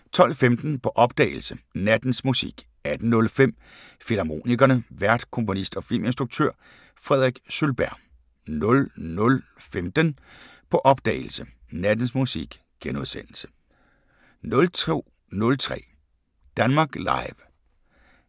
12:15: På opdagelse – Nattens Musik 18:05: Filmharmonikerne: Vært komponist og filminstruktør Frederik Sølberg 00:15: På opdagelse – Nattens Musik * 02:03: Danmark Live